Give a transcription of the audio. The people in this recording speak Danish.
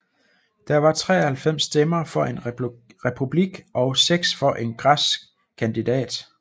Der var 93 stemmer for en republik og seks for en græsk kandidat